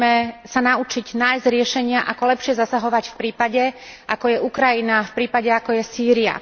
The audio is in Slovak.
Musíme sa naučiť nájsť riešenia, ako lepšie zasahovať v prípade, ako je Ukrajina, v prípade, ako je Sýria.